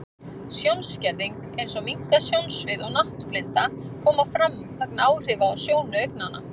Sjónskerðing, eins og minnkað sjónsvið og náttblinda, koma fram vegna áhrifa á sjónu augnanna.